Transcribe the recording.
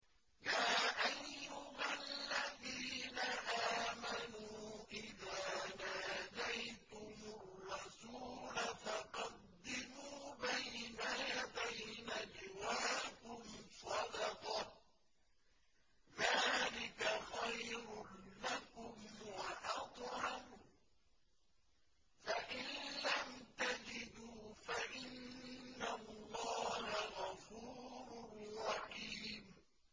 يَا أَيُّهَا الَّذِينَ آمَنُوا إِذَا نَاجَيْتُمُ الرَّسُولَ فَقَدِّمُوا بَيْنَ يَدَيْ نَجْوَاكُمْ صَدَقَةً ۚ ذَٰلِكَ خَيْرٌ لَّكُمْ وَأَطْهَرُ ۚ فَإِن لَّمْ تَجِدُوا فَإِنَّ اللَّهَ غَفُورٌ رَّحِيمٌ